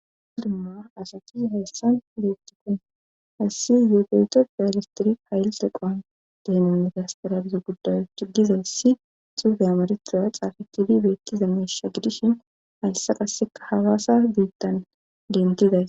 audumma asakizi hayssan bettikon hayssi zeebeyto bialistiri hayillxeqoan deememitastarabiza gudayo ciggizayssi xuufe amareturaya xaafe tiidi beettiza meesha gidishin hayssa qasseka hawaasa biittan dentiday